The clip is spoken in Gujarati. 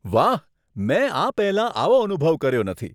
વાહ. મેં આ પહેલાં આવો અનુભવ કર્યો નથી.